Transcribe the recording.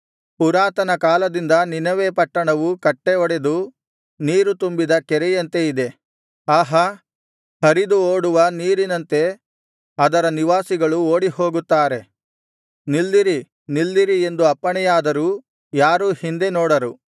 ಪುರಾತನ ಕಾಲದಿಂದ ನಿನವೆ ಪಟ್ಟಣವೂ ಕಟ್ಟೆ ಒಡೆದು ನೀರು ತುಂಬಿದ ಕೆರೆಯಂತೆ ಇದೆ ಆಹಾ ಹರಿದು ಓಡುವ ನೀರಿನಂತೆ ಅದರ ನಿವಾಸಿಗಳು ಓಡಿಹೋಗುತ್ತಾರೆ ನಿಲ್ಲಿರಿ ನಿಲ್ಲಿರಿ ಎಂದು ಅಪ್ಪಣೆಯಾದರೂ ಯಾರೂ ಹಿಂದೆ ನೋಡರು